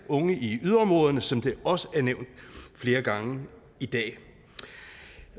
unge i yderområderne som det også er nævnt flere gange i dag